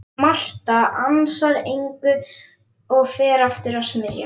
Marta ansar engu og fer aftur að smyrja.